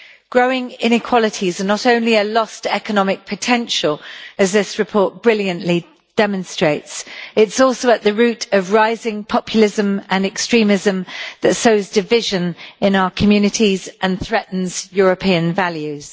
Growing inequality is not only a loss to economic potential, as this report brilliantly demonstrates, it is also at the root of the rising populism and extremism that sows division in our communities and threatens European values.